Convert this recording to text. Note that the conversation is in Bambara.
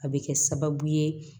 A bɛ kɛ sababu ye